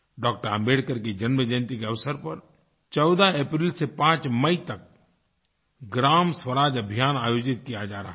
डॉ० आम्बेडकर की जन्म जयंती के अवसर पर 14 अप्रैल से 5 मई तक ग्रामस्वराज अभियान आयोजित किया जा रहा है